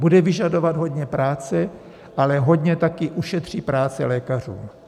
Bude vyžadovat hodně práce, ale hodně taky ušetří práci lékařům.